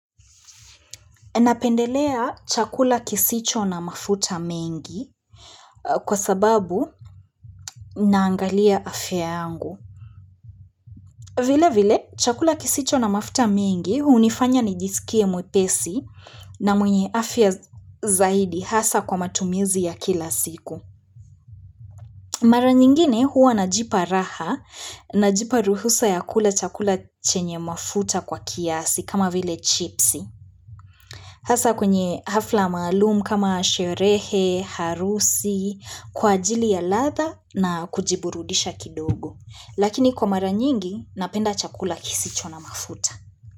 Napendelea chakula kisicho na mafuta mengi kwa sababu naangalia afya yangu. Vile vile chakula kisicho na mafuta mingi unifanya nijisikie mwepesi na mwenye afya zaidi hasa kwa matumizi ya kila siku. Mara nyingine huwa najipa raha najipa ruhusa ya kula chakula chenye mafuta kwa kiasi kama vile chipsi. Hasa kwenye hafla maalumu kama sherehe, harusi, kwa ajili ya ladha na kujiburudisha kidogo. Lakini kwa mara nyingi, napenda chakula kisicho na mafuta.